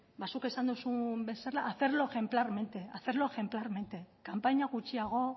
ba zuk esan dozun bezala hacerlo ejemplar kanpaina gutxiago